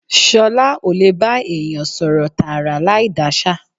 Ṣọlá ó lè bá èèyàn sọ̀rọ̀ tààrà láì dáṣà